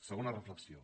segona reflexió